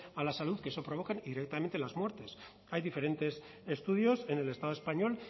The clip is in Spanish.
a la salud que eso provocan directamente las muertes hay diferentes estudios en el estado español